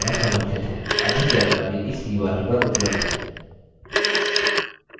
अधिक जानकारी इस url पर उबलब्ध है